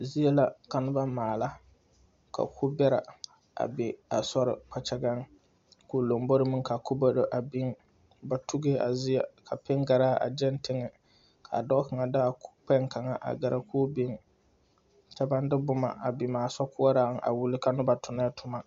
Zie la ka noba maala ka kubɛrɛ a be a sori kpakyagaŋ ka o lombori meŋ ka kubɛrɛ a biŋ ba tugee a zie ka piŋgaraa a gyaŋ teŋɛ ka dɔɔ kaŋa de a Kukpɛŋ kaŋa a gɛrɛ k'o biŋ kyɛ baŋ de boma biŋ a sokoɔraŋ a wuli ka noba tonnɛɛ toma.